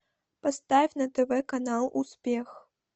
поставь на тв канал успех